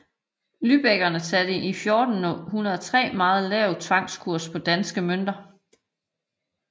Lübeckerne satte i 1403 en meget lav tvangskurs på danske mønter